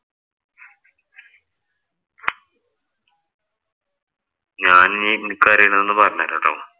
ഞാനിനി എനിക്കറിയണയത് ഒന്ന് പറഞ്ഞുതരാം ട്ടോ.